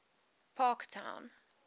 parktown